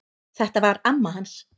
Þetta var amma hans